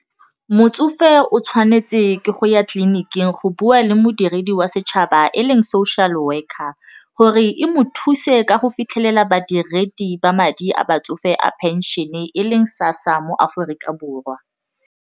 Motsofe o tshwanetse ke go ya tleliniking go bua le modiredi wa setšhaba e leng social worker gore e mo thuse ka go fitlhelela badiredi ba madi a batsofe a pension-e e leng SASSA mo Aforika Borwa.